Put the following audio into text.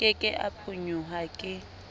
ke ke a phonyoha ke